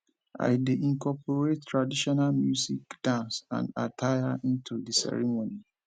i dey incorporate traditional music dance and attire into di ceremony